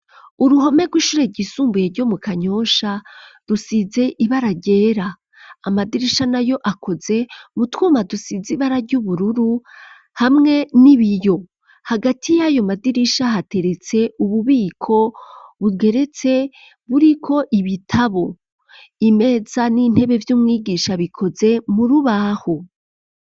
Uruhome rw'ishure ryisumbuye yo mu Kanyosha rusize ibara ryera amadirisha nayo akoze mu twuma dusizi baraga ryubururu hamwe n'ibiyo hagati y'ayo madirisha hateretse ububiko buweretse buriko ibitabo imeza n'intebe vy'umwigisha bikoze murubaho.